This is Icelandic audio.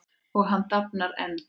Og hann dafnar enn.